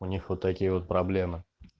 у них вот такие вот проблемы